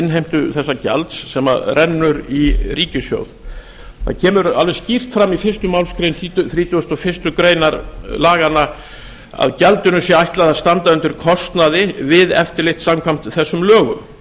innheimtu þessa gjalds sem rennur í ríkissjóð það kemur alveg skýrt fram í fyrstu málsgrein þrítugustu og fyrstu grein laganna að gjaldinu sé ætlað að standa undir kostnaði við eftirlit samkvæmt þessum lögum